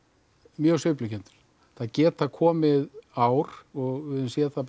mjög sveiflukenndur það geta komið ár og við höfum séð það